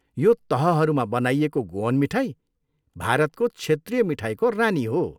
यो तहहरूमा बनाइएको गोअन मिठाई भारतको क्षेत्रीय मिठाईको रानी हो।